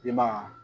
I ma ye